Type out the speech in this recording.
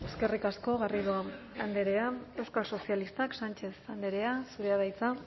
eskerrik asko garrido andrea euskal sozialistak sánchez andrea zurea da hitza